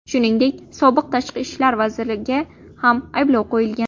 Shuningdek, sobiq tashqi ishlar vaziriga ham ayblov qo‘yilgan.